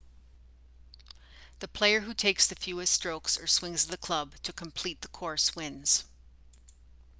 the player who takes the fewest strokes or swings of the club to complete the course wins